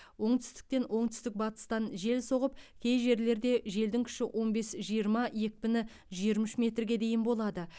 оңтүстіктен оңтүстік батыстан жел соғып кей жерлерде желдің күші он бес жиырма екпіні жиырма үш метрге дейін болады